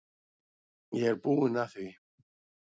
Ég er búinn að því.